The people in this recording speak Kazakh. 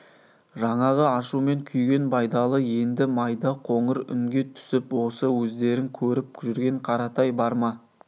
жаңағы ашумен күйген байдалы енді майда қоңыр үнге түсіп осы өздерің көріп жүрген қаратай бар ма